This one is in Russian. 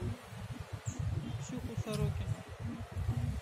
ксюху сорокину